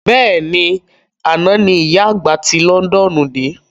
Bẹ́ẹ̀ni, àná ní ìyá àgbà ti Londoonu de